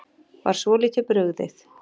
Var svolítið brugðið